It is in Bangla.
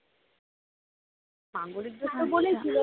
মাঙ্গলিক দোষ তো বলেই ছিল